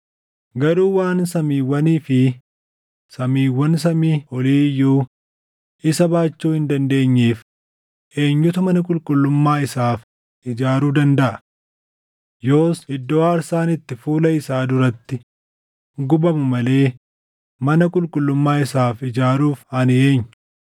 Garuu waan samiiwwanii fi samiiwwan samii olii iyyuu isa baachuu hin dandeenyeef eenyutu mana qulqullummaa isaaf ijaaruu dandaʼa? Yoos iddoo aarsaan itti fuula isaa duratti gubamu malee mana qulqullummaa isaaf ijaaruuf ani eenyu?